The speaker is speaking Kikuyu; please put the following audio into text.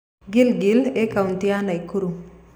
Giligili ĩ kautĩ ya Naikuru